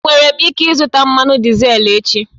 Enwere m ike ịzụta mmanụ dizel echi?